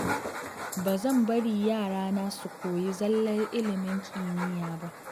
Ba zan bari yarana su koyi zallar ilimin kimiyya ba.